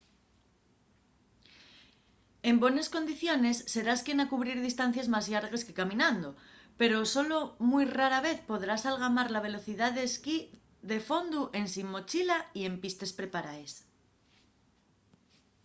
en bones condiciones serás quien a cubrir distancies más llargues que caminando – pero solo mui rara vez podrás algamar la velocidá del ski de fondu ensin mochila y en pistes preparaes